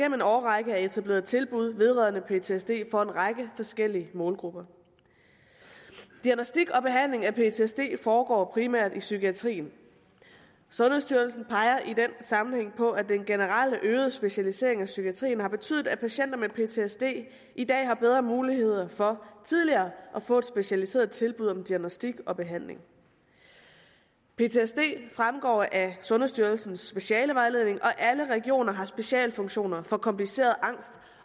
en årrække er etableret tilbud vedrørende ptsd for en række forskellige målgrupper diagnostik og behandling af ptsd foregår primært i psykiatrien sundhedsstyrelsen peger i den sammenhæng på at den generelt øgede specialisering i psykiatrien har betydet at patienter med ptsd i dag har bedre mulighed for tidligere at få et specialiseret tilbud om diagnostik og behandling ptsd fremgår af sundhedsstyrelsens specialevejledning og alle regioner har specialfunktioner for komplicerede angst